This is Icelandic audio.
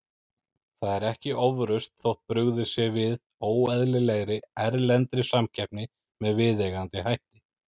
Það er ekki ofrausn þótt brugðist sé við óeðlilegri, erlendri samkeppni með viðeigandi hætti.